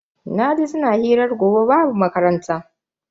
Naji suna hirar gobe babu makaranta.